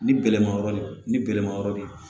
Ni bɛlɛma yɔrɔ ni bɛlɛma yɔrɔ de ye